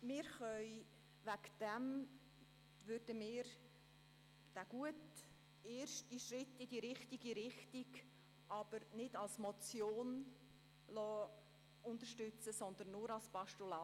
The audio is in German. Deswegen können wir den guten ersten Schritt in die richtige Richtung unterstützen, aber nicht als Motion, sondern nur als Postulat.